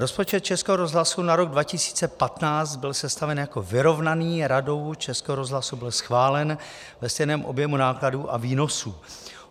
Rozpočet Českého rozhlasu na rok 2015 byl sestaven jako vyrovnaný, Radou Českého rozhlasu byl schválen ve stejném objemu nákladů a výnosů.